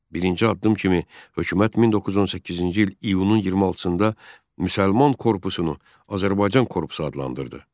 Birinci addım kimi hökumət 1918-ci il iyunun 26-da müsəlman korpusunu Azərbaycan korpusu adlandırdı.